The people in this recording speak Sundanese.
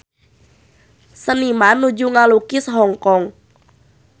Seniman nuju ngalukis Hong Kong